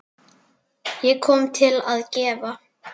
Ég kom til að gefa.